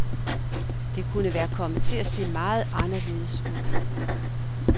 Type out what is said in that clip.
Det kunne være kommet til at se meget anderledes ud.